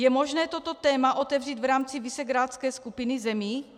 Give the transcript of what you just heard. Je možné toto téma otevřít v rámci visegrádské skupiny zemí?